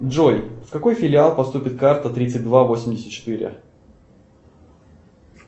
джой в какой филиал поступит карта тридцать два восемьдесят четыре